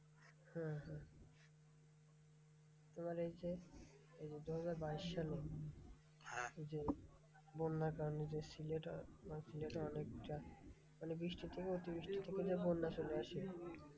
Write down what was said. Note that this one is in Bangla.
হ্যাঁ হ্যাঁ তোমার এই যে এই যে, দুহাজার বাইশ সালে যে, বন্যার কারণে যে সিলেটে সেই সিলেটের অনেকটা মানে বৃষ্টি থেকে অতিবৃষ্টি থেকে যে বন্যা চলে আসে,